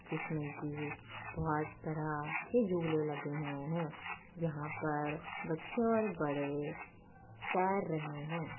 जिसमे की बहुत तरह के झूले लगे हुए है यहाँ पर बच्चे और बड़े तैर रहे हैं |